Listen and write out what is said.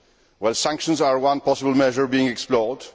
Well, sanctions are one possible measure being explored.